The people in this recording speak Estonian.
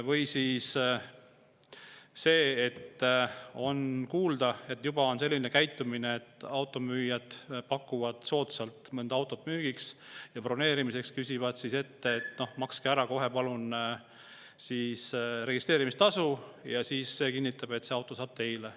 Või siis see, et kuuldavasti selline asi, et automüüjad pakuvad soodsalt mõnda autot müüa ja broneerimiseks küsivad ette, et makske palun kohe ära registreerimistasu, see kinnitab, et see auto saab teile.